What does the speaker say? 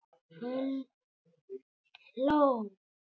Hann hló.